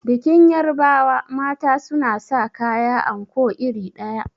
Bikin yarbawa mata suna sa kaya anko iri ɗaya.